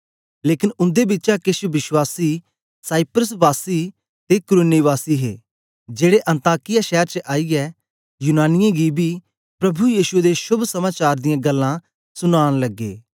लेकन उन्दे बिचा केछ विश्वासी साइप्रस वासी ते कुरेने वासी हे जेड़े अन्ताकिया शैर च आईयै यूनानियें गी बी प्रभु यीशु दे शोभ समाचार दियां गल्लां सुनाना लगे